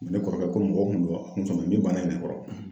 Ne kɔrɔkɛ ko ko mɔgɔ kun bɛ bɔ nin bana in de kɔrɔ